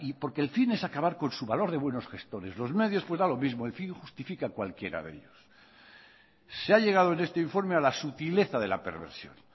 porque el fin es acabar con su valor de buenos gestores los medios pues da lo mismo el fin justifica cualquiera de ellos se ha llegado en este informe a la sutileza de la perversión